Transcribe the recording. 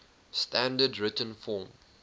standard written form